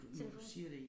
Telefon